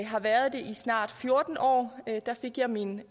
har været det i snart fjorten år der fik jeg min